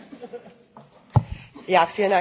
Vielen Dank, Herr Vorsitzender!